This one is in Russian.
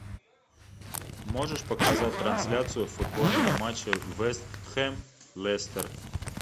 можешь показать трансляцию футбольного матча вест хэм лестер